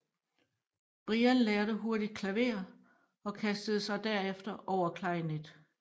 Brian lærte hurtigt klaver og kastede sig derefter over klarinet